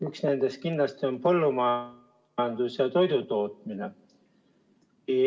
Üks nendest kindlasti on põllumajandus ja toidutootmine.